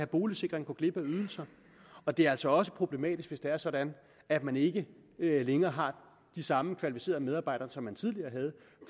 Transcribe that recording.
boligsikring går glip af ydelser og det er altså også problematisk hvis det er sådan at man ikke længere har de samme kvalificerede medarbejdere som man tidligere havde